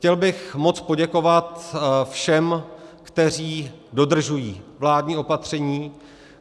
Chtěl bych moc poděkovat všem, kteří dodržují vládní opatření.